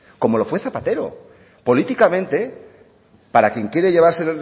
como lo fue zapatero políticamente para quien quiere llevarse